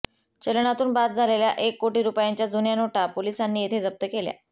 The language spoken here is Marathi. चलनातून बाद झालेल्या एक कोटी रुपयांच्या जुन्या नोटा पोलिसांनी येथे जप्त केल्या